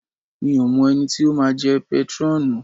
Mi ò mọ ẹni tí ó máa jẹ́ pétrọ́ọ̀nù.